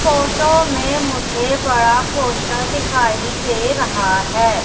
Photo में मुझे बड़ा पोस्टर दिखाई दे रहा है।